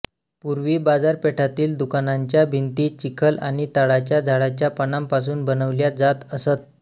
पूर्वी बाजारपेठातील दुकानांच्या भिंती चिखल आणि ताडाच्या झाडाच्या पानांपासून बनविल्या जात असत